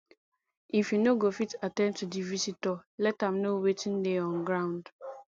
if you no go fit at ten d to di visitor let am know wetin dey on ground